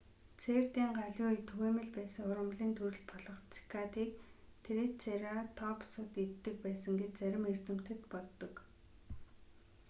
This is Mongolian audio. цэрдийн галавын үед түгээмэл байсан ургамлын төрөл болох цикадыг трицератопсууд иддэг байсан гэж зарим эрдэмтэд боддог